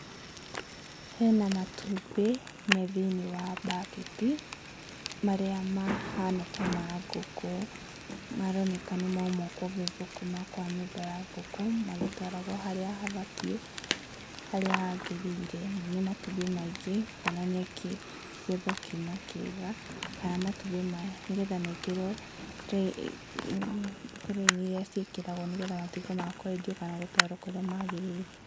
Hena matumbĩ me thĩiniĩ wa mbaketi, marĩa mahana ta ma ngũkũ, maroneka nĩ mauma kũgethwo kuma nyũmba ya ngũkũ, magĩtwaragwo harĩa habatiĩ harĩa hagĩrĩire, na nĩ matumbĩ maingĩ, kuonania kĩgetho kiuma kĩega kana matumbĩ maya nĩgetha mekĩrwo tũre-inĩ iria ciĩkĩragwo, nĩgetha matuĩke ma kwendio kana gũtwarwo kũrĩa magĩrĩire.